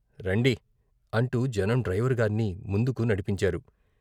రండి " అంటూ జనం డ్రైవరుగార్ని ముందుకు నడిపించారు.